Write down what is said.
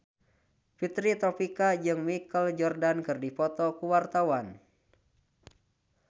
Fitri Tropika jeung Michael Jordan keur dipoto ku wartawan